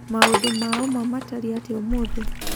Maũndũ ma ũma matariĩ atĩa ũmũthĩ?